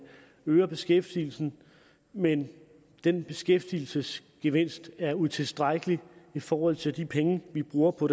øger beskæftigelsen men den beskæftigelsesgevinst er utilstrækkelig i forhold til de penge vi bruger på